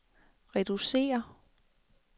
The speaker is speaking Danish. reducere